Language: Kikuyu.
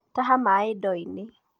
Taha maĩ ndo-inĩ.